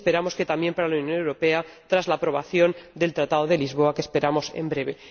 y esperamos que también para la Unión Europea tras la aprobación del Tratado de Lisboa que esperamos en breve.